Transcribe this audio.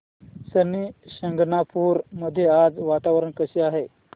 शनी शिंगणापूर मध्ये आज वातावरण कसे आहे